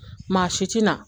Maa si tina